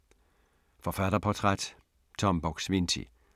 Forfatterportræt: Tom Buk-Swienty